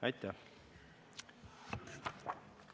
Aitäh!